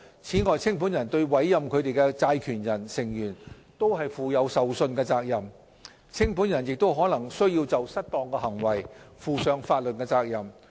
此外，清盤人對委任他們的債權人/成員負有受信職責。清盤人亦可能須就失當行為負上法律責任。